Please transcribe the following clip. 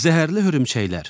Zəhərli hörümçəklər.